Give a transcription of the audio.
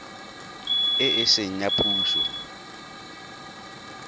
e e seng ya puso